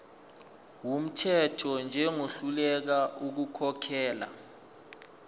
wumthetho njengohluleka ukukhokhela